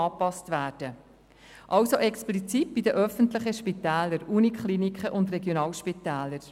Dies betrifft somit explizit die öffentlichen Spitäler, also die Universitätskliniken und die Regionalspitäler.